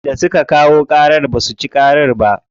Wanda suka kayo ƙarar basu ci ba ƙarar ba.